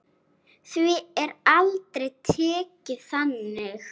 Því er aldrei tekið þannig.